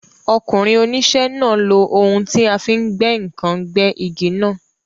Ọkùnrin oníṣẹ́ náà lo ohun tí a fi ń gbẹ́ ǹkan gbẹ́ igi náà.